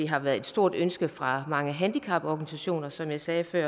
har været et stort ønske fra mange handicaporganisationer som jeg sagde før